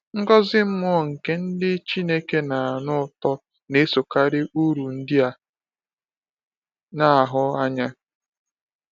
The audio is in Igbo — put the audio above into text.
Ngọzi mmụọ nke ndị Chineke na-anụ ụtọ na-esokarị uru ndị a na-ahụ anya.